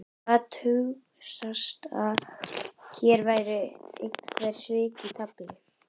Gat hugsast að hér væru einhver svik í tafli?